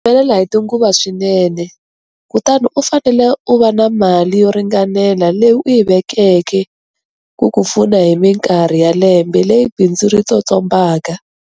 Byi humelela hi tinguva swinene, kutani u fanele u va na mali yo ringanela leyi u yi vekeke ku ku pfuna hi mikarhi ya lembe leyi bindzu ri tsotsombaka.